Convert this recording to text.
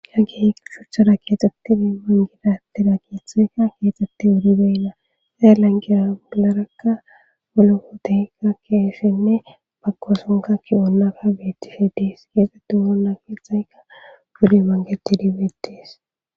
ha geshuchchara keexxettini mangidatira kiitheykka keexxetti wudibeyinna zaya langira mugilarakka mologoteykka keeshenne bagkosonka kionnaka beetti fhidees keexxetti wurona keexaykka gude mangeti dibeetees